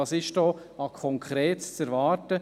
Was ist an Konkretem zu warten?